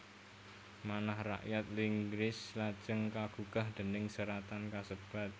Manah rakyat Inggris lajeng kagugah déning seratan kasebat